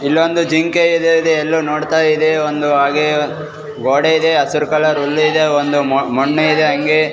ಇಲ್ಲೊಂದು ಜಿಂಕೆ ಇದೆ ಅದು ಎಲ್ಲೊ ನೋಡ್ತಾ ಇದೆ ಒಂದು ಹಾಗೆ ಗೋಡೆ ಇದೆ ಹಸಿರು ಕಲರ್ ಹುಲ್ಲು ಇದೆ ಒಂದು ಮಣ್ಣು ಇದೆ ಹಂಗೆ.